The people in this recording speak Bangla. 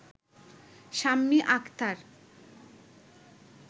শাম্মী আখতার